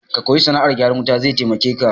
Ka koyi sana'ar gyaran wuta zai taimake ka